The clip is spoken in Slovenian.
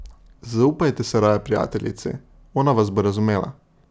Zaupajte se raje prijateljici, ona vas bo razumela.